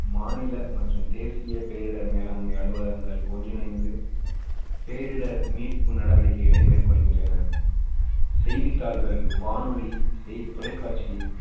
மாநில மற்றும் தேசிய பேரிடர் மேலாண்மை அலுவலகங்கள் ஒன்றிணைந்து பேரிடர் மீட்பு நடவடிக்கைகளை மேற்கொள்கின்றன செய்தித்தாள்கள், வானொலி, தொலைக்காட்சி,